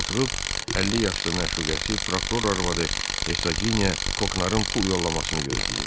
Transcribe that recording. Oturub 50 yaşlı məşuqəsi prokuror arvadı Hevsageniya Koknarın pul yollamasını gözləyirdi.